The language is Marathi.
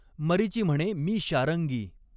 मरीचि म्हणे मी शारङ्गी।